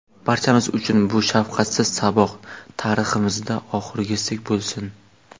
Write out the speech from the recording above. Barchamiz uchun bu shafqatsiz saboq tariximizda oxirgisi bo‘lsin.